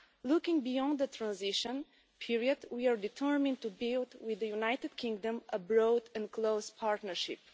Looking beyond the transition period, we are determined to build with the United Kingdom a broad and close partnership.